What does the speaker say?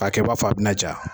K'a kɛ i b'a fɔ bɛna ja